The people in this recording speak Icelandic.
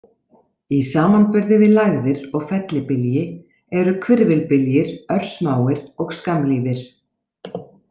Í samanburði við lægðir og fellibylji eru hvirfilbyljir örsmáir og skammlífir.